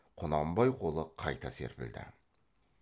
құнанбай қолы қайта серпілді